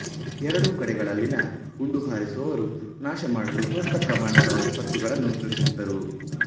ಎರಡೂ ಕಡೆಗಳಲ್ಲಿನ ಗುಂಡು ಹಾರಿಸುವವರು ನಾಶಮಾಡಲು ದೊಡ್ಡ ಪ್ರಮಾಣದ ವಿಪತ್ತುಗಳನ್ನು ಸೃಷ್ಟಿಸಿದರು